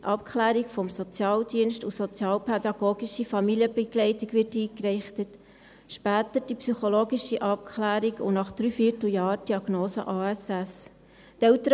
Abklärung durch den Sozialdienst und sozialpädagogische Familienbegleitung wird eingeleitet, später die psychologische Abklärung, und nach dreiviertel Jahren die Diagnose Autismus-Spektrum-Störung (ASS).